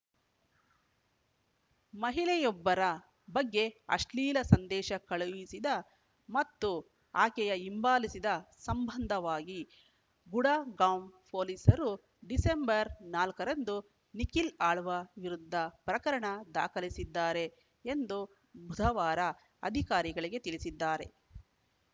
ಮಹಿಳೆಯೊಬ್ಬರ ಬಗ್ಗೆ ಅಶ್ಲೀಲ ಸಂದೇಶ ಕಳಿಸಿದ ಮತ್ತು ಆಕೆಯ ಹಿಂಬಾಲಿಸಿದ ಸಂಬಂಧವಾಗಿ ಗುಡಗಾಂವ್‌ ಪೊಲೀಸರು ಡಿಸೆಂಬರ್‌ ನಾಲ್ಕ ರಂದು ನಿಖಿಲ್‌ ಆಳ್ವ ವಿರುದ್ಧ ಪ್ರಕರಣ ದಾಖಲಿಸಿದ್ದಾರೆ ಎಂದು ಬುಧವಾರ ಅಧಿಕಾರಿಗಳಿಗೆ ತಿಳಿಸಿದ್ದಾರೆ